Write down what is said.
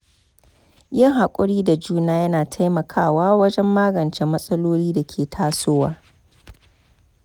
Yin haƙuri da juna yana taimakawa wajen magance matsalolin da ke tasowa.